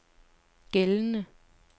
gældende